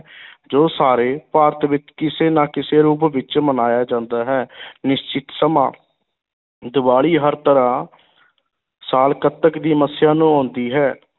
ਜੋ ਸਾਰੇ ਭਾਰਤ ਵਿੱਚ ਕਿਸੇ ਨਾ ਕਿਸੇ ਰੂਪ ਵਿੱਚ ਮਨਾਇਆ ਜਾਂਦਾ ਹੈ ਨਿਸ਼ਚਿਤ ਸਮਾਂ, ਦੀਵਾਲੀ ਹਰ ਤਰ੍ਹਾਂ ਸਾਲ ਕੱਤਕ ਦੀ ਮੱਸਿਆ ਨੂੰ ਆਉਂਦੀ ਹੈ।